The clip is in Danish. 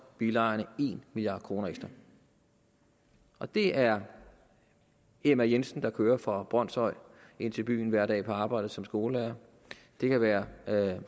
bilejerne en milliard kroner ekstra og det er emma jensen der kører fra brønshøj ind til byen hver dag for at arbejde som skolelærer det kan være